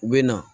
U bɛ na